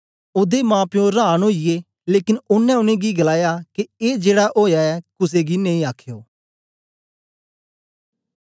ओदे माप्पो रांन ओईए लेकन ओनें उनेंगी गलाया के ए जेड़ा ओया ऐ कुसे गी नेई अख्यो